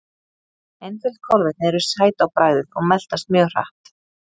einföld kolvetni eru sæt á bragðið og meltast mjög hratt